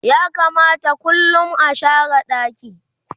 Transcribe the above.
ya kamata kullum a share ɗaki